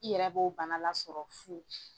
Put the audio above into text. I yɛrɛ b'o bana lasɔrɔ fu.